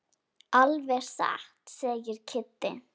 Alveg satt segir Kiddi.